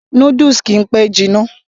noodles kìí pẹ́ jiná